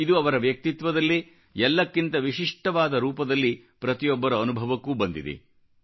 ಇದು ಅವರ ವ್ಯಕ್ತಿತ್ವದಲ್ಲೇ ಎಲ್ಲಕ್ಕಿಂತ ವಿಶಿಷ್ಟವಾದ ರೂಪದಲ್ಲಿ ಪ್ರತಿಯೊಬ್ಬರ ಅನುಭವಕ್ಕೂ ಬಂದಿದೆ